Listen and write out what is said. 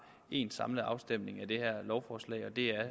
én samlet afstemning om det her lovforslag og det er